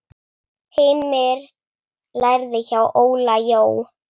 Heimir lærði hjá Óla Jó.